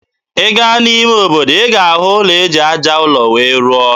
Ị gaa n'ime obodo, ị ga-ahụ ụlọ eji aja ụlọ wee rụọ.